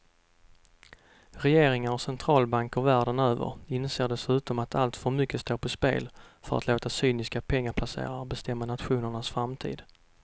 Regeringar och centralbanker världen över inser dessutom att alltför mycket står på spel för att låta cyniska pengaplacerare bestämma nationernas framtid.